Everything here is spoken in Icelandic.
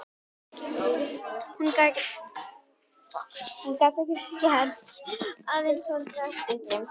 Hún gat ekkert gert, aðeins horft á eftir þeim.